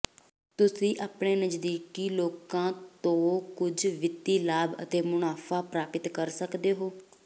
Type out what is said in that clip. ਤੁਸੀਂ ਆਪਣੇ ਨਜ਼ਦੀਕੀ ਲੋਕਾਂ ਤੋਂ ਕੁਝ ਵਿੱਤੀ ਲਾਭ ਅਤੇ ਮੁਨਾਫਾ ਪ੍ਰਾਪਤ ਕਰ ਸਕਦੇ ਹੋ